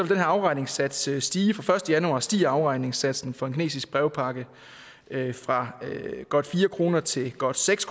den her afregningssats stige fra den første januar stiger afregningssatsen for en kinesisk brevpakke fra godt fire kroner til godt seks